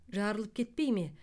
жарылып кетпей ме